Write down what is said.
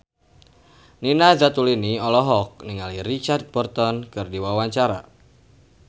Nina Zatulini olohok ningali Richard Burton keur diwawancara